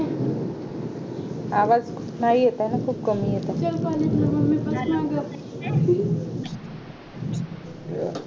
आवाज नाही येत ये ना खूप कमी येत आहे